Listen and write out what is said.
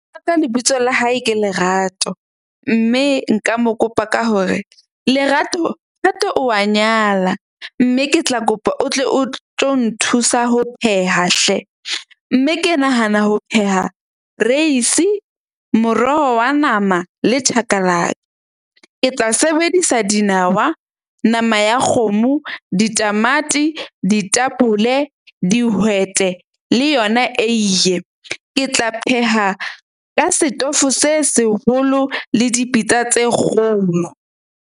Ka lebitso la hae ke Lerato. Mme nka mo kopa ka hore Lerato, Thato o wa nyala mme ke tla kopa o tle o tlo nthusa ho pheha hle. Mme ke nahana ho pheha reisi, moroho wa nama le . Ke tla sebedisa dinawa, nama ya kgomo, ditamati, ditapole, dihwete le yona eiye. Ke tla pheha ka setofo se seholo le dipitsa tse kgolo.